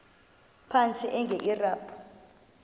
phantsi enge lrabi